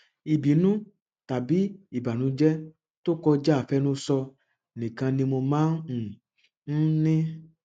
ìbínú tàbí ìbànújẹ tó kọjá àfẹnusọ nìkan ni mo máa um ń ní